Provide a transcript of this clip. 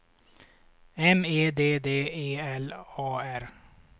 M E D D E L A R